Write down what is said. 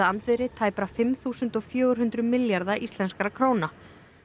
andvirði tæpra fimm þúsund fjögur hundruð milljarða íslenskra króna